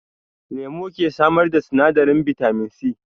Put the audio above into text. Lemu ke samar da sinadarin bitamin C